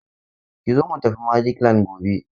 Ki zo mu tafi Magic land gobe!